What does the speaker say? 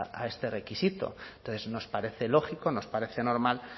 a este requisito entonces nos parece lógico nos parece normal